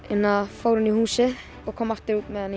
fór inn í húsið og kom aftur með hann